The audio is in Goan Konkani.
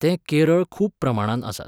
ते केरळ खूब प्रमाणांत आसात.